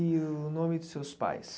E o nome dos seus pais?